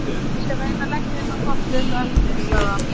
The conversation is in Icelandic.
Ég skal reyna að leggja inn á kortið þitt á eftir- sagði hann.